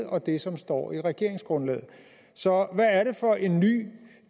og det som står i regeringsgrundlaget så hvad er det for en ny